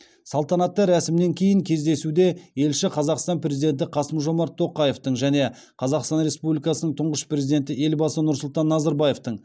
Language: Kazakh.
салтанатты рәсімнен кейін кездесуде елші қазақстан президенті қасым жомарт тоқаевтың және қазақстан республикасының тұңғыш президенті елбасы нұрсұлтан назарбаевтың